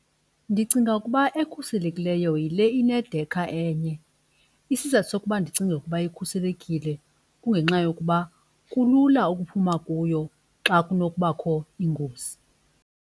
Ndicinga ukuba ekhuselekileyo yile inedekha enye. Isizathu sokuba ndicinge ukuba ikhuselekile kungenxa yokuba kulula ukuphuma kuyo xa kunokubakho ingozi.